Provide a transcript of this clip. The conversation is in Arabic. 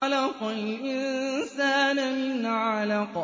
خَلَقَ الْإِنسَانَ مِنْ عَلَقٍ